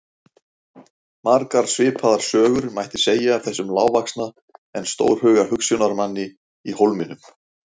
Margar svipaðar sögur mætti segja af þessum lágvaxna en stórhuga hugsjónamanni í Hólminum.